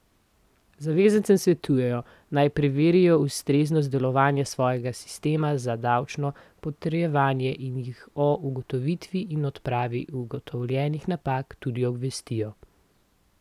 Zavezancem svetujejo, naj preverijo ustreznost delovanja svojega sistema za davčno potrjevanje in jih o ugotovitvi in odpravi ugotovljenih napak tudi obvestijo.